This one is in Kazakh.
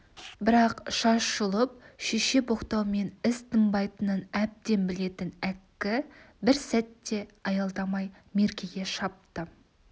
бірақ шаш жұлып шеше боқтаумен іс тынбайтынын әбден білетін әккі бір сәт те аялдамай меркеге шапты